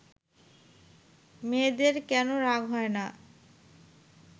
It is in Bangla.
মেয়েদের কেন রাগ হয় না